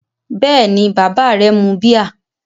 Bẹ́ẹ̀ni, bàbá rẹ mu bíà.